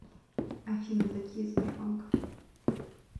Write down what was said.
афина такие сбербанк